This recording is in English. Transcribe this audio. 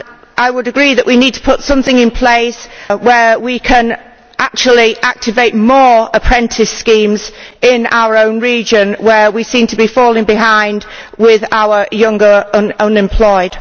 I would agree that we need to put something in place whereby we can actually activate more apprentice schemes in our own region where we seem to be falling behind with our younger unemployed.